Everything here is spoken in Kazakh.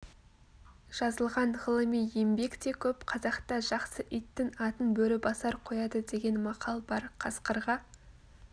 жазылған ғылыми еңбек те көп қазақта жақсы иттің атын бөрібасар қояды деген мақал бар қасқырға